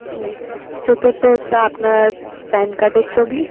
হুম চতুর্থ হচ্ছে আপনার pan card এর ছবি